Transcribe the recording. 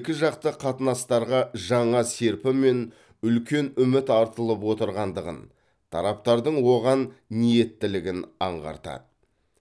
екіжақты қатынастарға жаңа серпін мен үлкен үміт артылып отырғандығын тараптардың оған ниеттілігін аңғартады